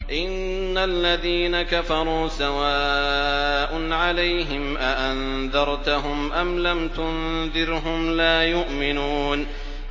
إِنَّ الَّذِينَ كَفَرُوا سَوَاءٌ عَلَيْهِمْ أَأَنذَرْتَهُمْ أَمْ لَمْ تُنذِرْهُمْ لَا يُؤْمِنُونَ